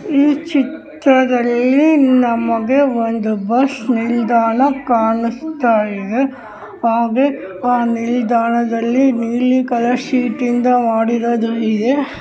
ಈ ಚಿತ್ರದಲ್ಲಿ ನಮಗೇ ಒಂದು ಬಸ್ ನಿಲ್ದಾಣ ಇದೆ ಕಾಣಿಸ್ತಾ ಇದೆ ಹಾಗೆಯೇ ನಿಲ್ದಾಣದಲ್ಲಿ ಆ ನಿಲ್ದಾಣದಲ್ಲಿ ನೀಲಿ ಕಲರಿಂದ .]